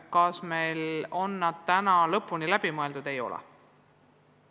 Kas meil on kõik see juba läbi mõeldud?